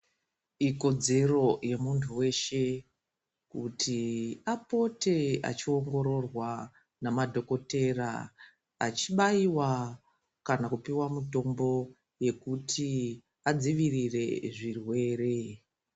Ikodzero yemuntu weshe kuti apote achiongororwa namadhokotera achibaiwa kana kupiwa mutombo yekuti adzivirire zvirwere.